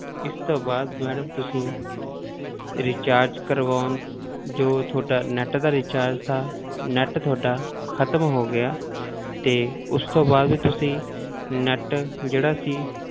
ਇਸ ਤੋਂ ਬਾਅਦ madam ਤੁਸੀਂ recharge ਕਰਵਾਉਣ, ਜੋ ਤੁਹਾਡਾ net ਦਾ recharge ਸੀ net ਤੁਹਾਡਾ ਖ਼ਤਮ ਹੋ ਗਿਆ ਤੇ ਉਸ ਤੋਂ ਬਾਅਦ ਤੁਸੀਂ net ਜਿਹੜਾ ਸੀ,